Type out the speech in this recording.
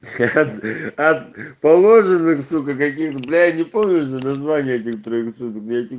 положено кто каким бля я не помню уже названия этих троих